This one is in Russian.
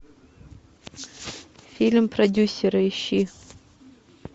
фильм продюсеры ищи